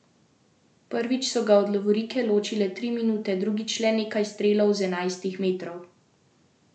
Prvič so ga od lovorike ločile tri minute, drugič le nekaj strelov z enajstih metrov.